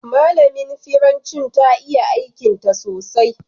Malamin firanci ta iya aikin ta sosai.